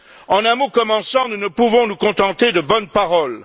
En un mot comme en cent, nous ne pouvons nous contenter de bonnes paroles.